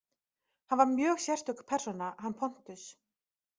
Hann var mjög sérstök persóna, hann Pontus.